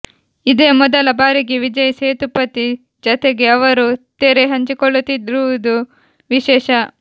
ಇದೇ ಮೊದಲ ಬಾರಿಗೆ ವಿಜಯ್ ಸೇತುಪತಿ ಜತೆಗೆ ಅವರು ತೆರೆ ಹಂಚಿಕೊಳ್ಳುತ್ತಿರುವುದು ವಿಶೇಷ